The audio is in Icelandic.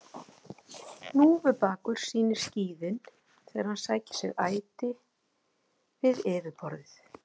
Hnúfubakur sýnir skíðin þegar hann sækir sér æti við yfirborðið.